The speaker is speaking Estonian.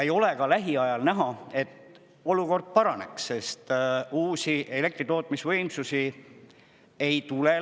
Ei ole ka näha, et olukord paraneks, sest lähiajal uusi elektritootmisvõimsusi juurde ei tule.